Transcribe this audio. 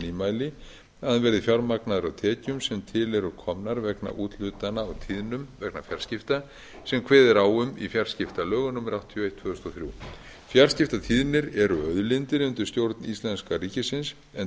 nýmæli að hann verði fjármagnaður af tekjum sem til eru komnar vegna úthlutana á tíðnum vegna fjarskipta sem kveðið er á um í fjarskiptalögum númer áttatíu og eitt tvö þúsund og þrjú fjarskiptatíðnir eru auðlindir undir stjórn íslenska ríkisins en